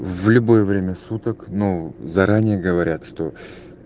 в любое время суток но заранее говорят что